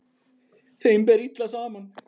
Þeim ber illa saman.